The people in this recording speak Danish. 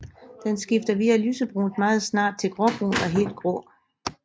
Den skifter via lysebrunt meget snart til gråbrun og helt grå